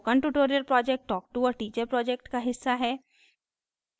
spoken tutorial project talktoa teacher project का हिस्सा है